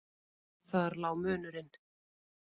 Þar lá munurinn.